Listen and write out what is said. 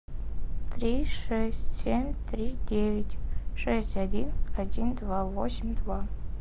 три шесть семь три девять шесть один один два восемь два